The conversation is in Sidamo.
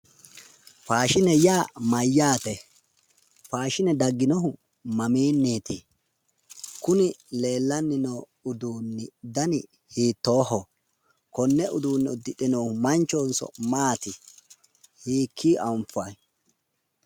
faashine yaa mayyaate? faashine dagginohu mamiinniti? kuni leellanni noo udduunni dani hiittooho? konne uduunne uddire noohu manchohonso maati? hiikko anfanni?